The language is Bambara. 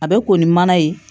A bɛ ko ni mana ye